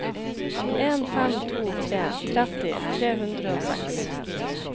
en fem to tre tretti tre hundre og seks